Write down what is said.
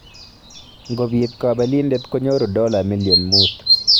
Ngobiit kabelindet konyoru dola million muut